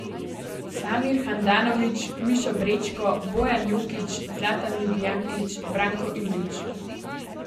Samir Handanović, Mišo Brečko, Bojan Jokić, Zlatan Ljubijankić, Branko Ilić ...